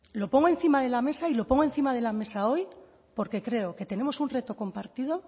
lo pongo encima de la mesa y lo pongo encima de la mesa hoy porque creo que tenemos un reto compartido